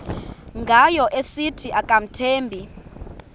ngayo esithi akamthembi